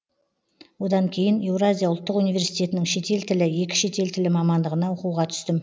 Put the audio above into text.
одан кейін еуразия ұлттық университетінің шетел тілі екі шетел тілі мамандығына оқуға түстім